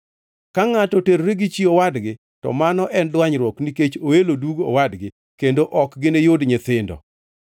Ka ngʼato oterore gi chi owadgi, to mano en dwanyruok nikech oelo dug owadgi, kendo ok giniyud nyithindo.